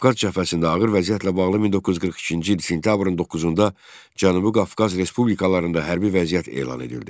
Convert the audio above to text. Qafqaz cəbhəsində ağır vəziyyətlə bağlı 1942-ci il sentyabrın 9-da Cənubi Qafqaz respublikalarında hərbi vəziyyət elan edildi.